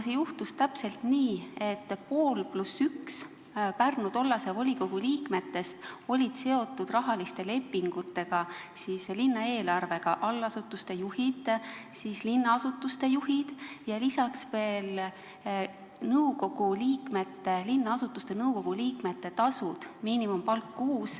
See juhtus täpselt nii, et pooled Pärnu tollase volikogu liikmetest + 1 liige olid seotud rahaliste lepingutega, linnaeelarvega: allasutuste juhid, linnaasutuste juhid, lisaks veel linnaasutuste nõukogude liikmete tasud .